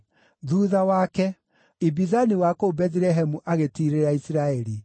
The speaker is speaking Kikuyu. Thuutha wake, Ibizani wa kũu Bethilehemu agĩtiirĩrĩra Isiraeli.